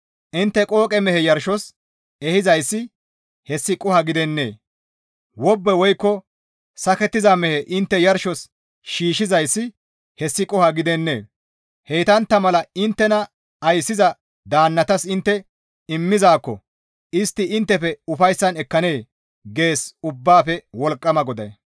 Intte qooqe mehe yarshos ehizayssi hessi qoho gidennee? Wobbe woykko sakettiza mehe intte yarshos shiishshizayssi hessi qoho gidennee? Heytantta mala inttena ayssiza daannatas intte immizaakko istti inttefe ufayssan ekkanee?» gees Ubbaafe Wolqqama GODAY.